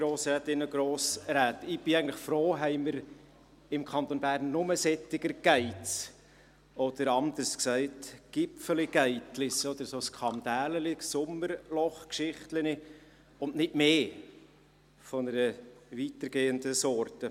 Ich bin eigentlich froh, haben wir im Kanton Bern nur solche «Gates» haben, oder anders gesagt «Gipfeli Gate»-chen, oder solche Skandälchen, Sommerlochgeschichtchen, und nicht mehr von einer weitergehenden Sorte.